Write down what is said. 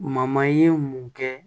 ye mun kɛ